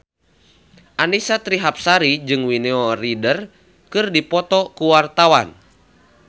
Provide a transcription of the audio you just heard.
Annisa Trihapsari jeung Winona Ryder keur dipoto ku wartawan